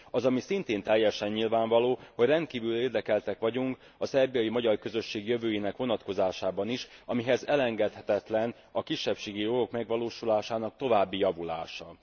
Ami szintén teljesen nyilvánvaló, hogy rendkívül érdekeltek vagyunk a szerbiai magyar közösség jövőjének vonatkozásában is, amihez elengedhetetlen a kisebbségi jogok megvalósulásának további javulása.